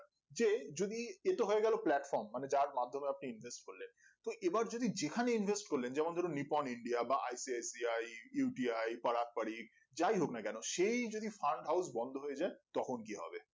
যে যদি এটা হয়ে গেলো platform মানে যার মাধ্যমে আপনি invest করলেন তো এবার যদি যেখানে invest করলেন যেমন ধরেন নিপন india বা I P S P I U P I পড়াক পড়ি যাই হোক না সেই যদি farm house বন্ধ হয়ে যাই তখন কি হবে